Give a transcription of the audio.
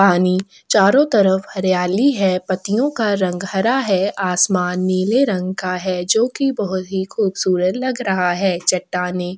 पानी चारो तरफ हरियाली है पत्तीयों का रंग हरा है आसमान नीले रंग का है जो की बहोत ही खूबसूरत लग रहा है चट्टाने--